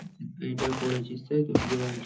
এইটা করেছিস তাই তো বিয়েবাড়ীটা?